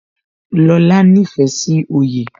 Lóla nífẹ̀ẹ́ sí oyè